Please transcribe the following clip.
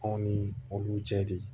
Anw ni olu cɛ de